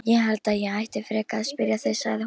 Ég held ég ætti frekar að spyrja þig, sagði hún.